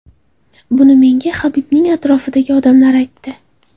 Buni menga Habibning atrofidagi odamlar aytdi.